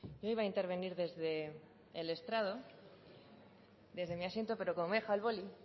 no iba a intervenir desde el estrado desde mi asiento pero como me he dejado el boli